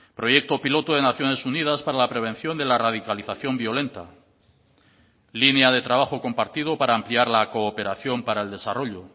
proyecto piloto de naciones unidas para la prevención de la radicalización violenta línea de trabajo compartido para ampliar la cooperación para el desarrollo